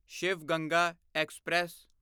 Shiv Ganga express